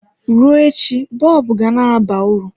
Rụọ echi bọlbụ ga-na aba uru.